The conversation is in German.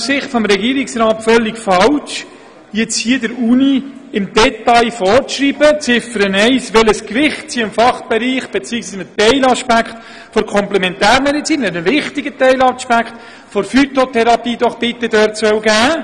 Es wäre aus Sicht des Regierungsrats daher völlig falsch, hier der Uni im Detail in Ziffer 1 vorzuschreiben, welches Gewicht sie einem Fachbereich bzw. einem wichtigen Teilaspekt der Komplementärmedizin, der Phytotherapie, doch bitte geben soll.